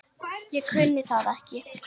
Ég kunni það ekki.